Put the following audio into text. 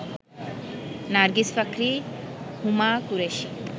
Nargis Fakhri, Huma Qureshi